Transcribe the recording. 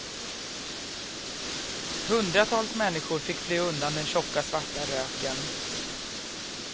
Hundratals människor fick fly undan den tjocka, svarta röken.